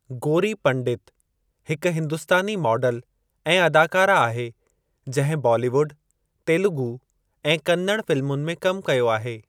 गोरी पंडित हिकु हिंदुस्तानी माडल ऐं अदाकारा आहे जंहिं बालीवुड, तेलुगू ऐं कन्नड़ फ़िलमुनि में कमु कयो आहे।